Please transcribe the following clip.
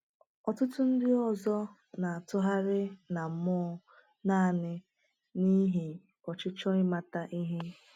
Ọtụtụ ndị ọzọ na-atụgharị na mmụọ naanị n’ihi ọchịchọ ịmata ihe.